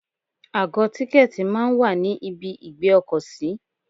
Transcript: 2Àgọ tìkẹ̀tí máa ń wà ní ibi ìgbé ọkọ̀ sí.